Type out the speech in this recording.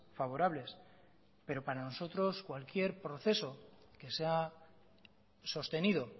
favorables pero para nosotros cualquier proceso que se ha sostenido